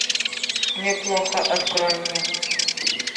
мне плохо открой мне